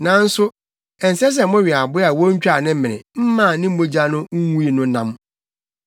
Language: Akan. “Nanso ɛnsɛ sɛ mowe aboa a wontwaa ne mene mmaa ne mogya no ngui no nam.